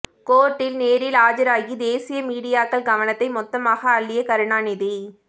கோர்ட்டில் நேரில் ஆஜராகி தேசிய மீடியாக்கள் கவனத்தை மொத்தமாக அள்ளிய கருணாநிதி